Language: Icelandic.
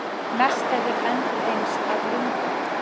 Mest hefur endurheimst af lunda.